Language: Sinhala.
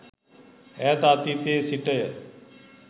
ඈත අතීතයේ සිටය.